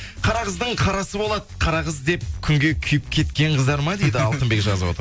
қара қыздың қарасы болады қара қыз деп күнге күйіп кеткен қыздар ма дейді алтынбек жазып отыр